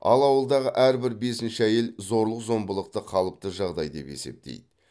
ал ауылдағы әрбір бесінші әйел зорлық зомбылықты қалыпты жағдай деп есептейді